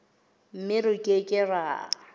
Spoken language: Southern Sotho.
mme re ke ke ra